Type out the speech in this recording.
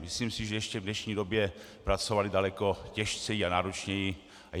Myslím si, že ještě v dnešní době pracovali daleko tíže a náročněji.